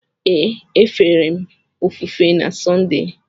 Ee, e fere m ofufe na Sọnde.